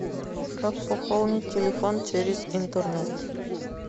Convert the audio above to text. как пополнить телефон через интернет